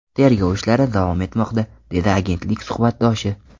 Tergov ishlari davom etmoqda”, dedi agentlik suhbatdoshi.